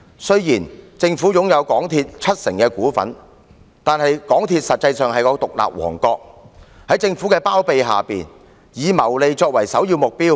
雖然政府擁有港鐵公司七成股份，但港鐵公司實際上是獨立王國，在政府的包庇下，以謀利作為首要目標。